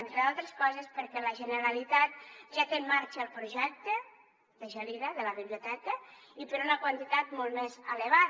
entre d’altres coses perquè la generalitat ja té en marxa el projecte de gelida de la biblioteca i per una quantitat molt més elevada